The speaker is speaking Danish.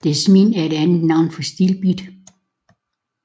Desmin er et andet navn for stilbit